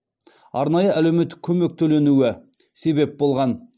арнайы әлеуметтік көмек төленуі себеп болған